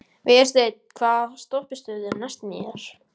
Vésteinn, hvaða stoppistöð er næst mér?